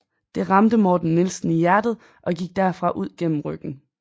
Det ramte Morten Nielsen i hjertet og gik derfra ud gennem ryggen